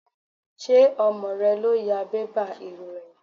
Ṣé ọmọ rẹ ló ya bébà ìròyìn?